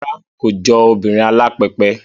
Rárá, kò jọ obìnrin alápẹpẹ